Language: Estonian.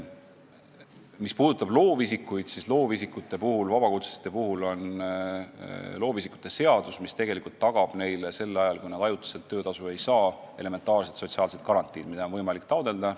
Mis puudutab loovisikuid, siis vabakutseliste puhul on aluseks loovisikute seadus, mis tagab neile sel ajal, kui nad ajutiselt töötasu ei saa, elementaarsed sotsiaalsed garantiid, mida on võimalik taotleda.